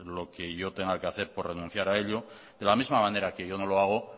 lo que yo tenga que hacer por renunciar a ello de la misma manera que yo no lo hago